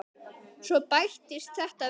Svo bættist þetta við.